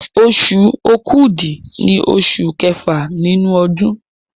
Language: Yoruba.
Oṣù Òkúdu ní oṣù kẹfà nínú ọdún